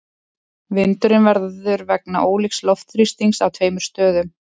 Vindurinn verður vegna ólíks loftþrýstings á tveimur stöðum.